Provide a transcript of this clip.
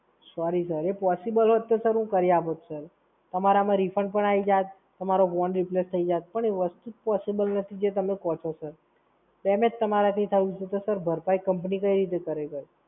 Sorry Sir, એ possible હોત તો હું કરી આપું Sir તમારામાં Refund પણ આઈ જાત, તમારો phone Replace થઈ જાત. પણ એ વસ્તુ જ Possible નથી જે તમે કહો છો Sir. Sir તમારાથી થયું છે, તો Sir ભરપાઈ Company કઈ રીતે કરે Sir